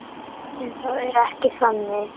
En það er ekki þannig.